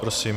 Prosím.